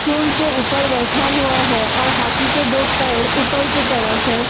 सूड के ऊपर बैठा हुआ है और हाथी के दो पैर ऊपर की तरफ है यहां --